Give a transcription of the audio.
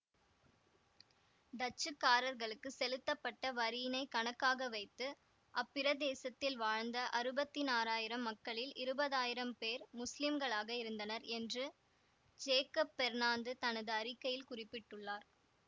டச்சுக்காரர்களுக்கு செலுத்தப்பட்ட வரியினைக் கணக்காக வைத்து அப்பிரதேசத்தில் வாழ்ந்த அறுபத்தினாறாயிரம் மக்களில் இருபதாயிரம் பேர் முஸ்லிம்களாக இருந்தனர் என்று ஜேக்கப் பெர்ணாந்து தனது அறிக்கையில் குறிப்பிட்டுள்ளார்